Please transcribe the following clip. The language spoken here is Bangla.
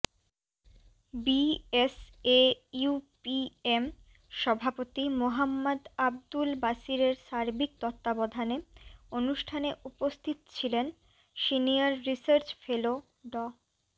বিএসএইউপিএম সভাপতি মোহাম্মাদ আবদুল বাশিরের সার্বিক তত্ত্বাবধানে অনুষ্ঠানে উপস্থিত ছিলেন সিনিয়র রিসার্চ ফেলো ড